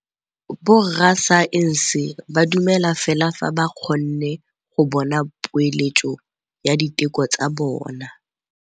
Borra saense ba dumela fela fa ba kgonne go bona poeletsô ya diteko tsa bone.